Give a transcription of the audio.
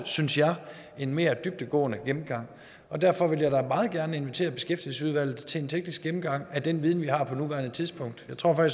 synes jeg en mere dybdegående gennemgang derfor vil jeg da meget gerne invitere beskæftigelsesudvalget til en teknisk gennemgang af den viden vi har på nuværende tidspunkt jeg tror